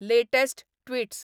latest tweets